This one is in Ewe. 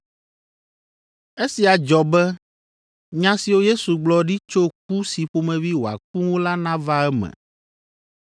Esia dzɔ be nya siwo Yesu gblɔ ɖi tso ku si ƒomevi wòaku ŋu la nava eme.